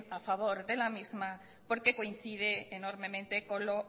a favor de la misma porque coincide enormemente con lo